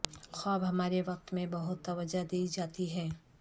خواب ہمارے وقت میں بہت توجہ دی جاتی ہیں